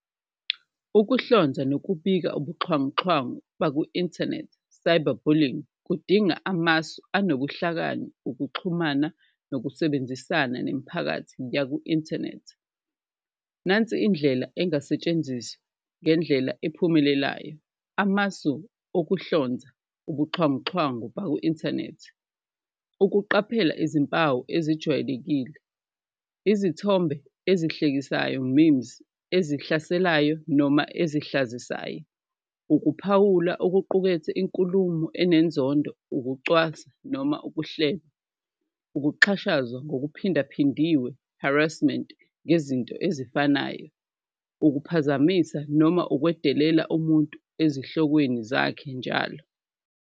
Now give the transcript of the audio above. Ukuhlonza nokubika ubuxhwanguxhwangu baku-inthanethi cyberbullying, kudinga amasu unobuhlakani, ukuxhumana, nokusebenzisana nemiphakathi yaku-inthanethi, nansi indlela engasetshenziswa ngendlela ephumelelayo. Amasu okuhlonza ubuxhwanguxhwangu baku-inthanethi, ukuqaphela izimpawu ezijwayelekile, izithombe ezihlekisayo, ezihlaselayo noma ezihlazisayo, ukuphawula okuqukethe inkulumo enenzondo, ukucwasa noma ukuhleba. Ukuxhashazwa ngokuphindaphindiwe, harassment ngezinto ezifanayo, ukuphazamisa noma ukwedelela umuntu ezihlokweni zakhe njalo.